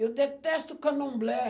Eu detesto candomblé.